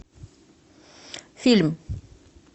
фильм